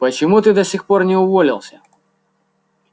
почему ты до сих пор не уволился